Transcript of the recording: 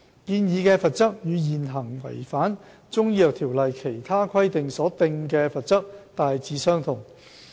建議的罰則與現行違反《條例》其他規定所訂的罰則大致相同。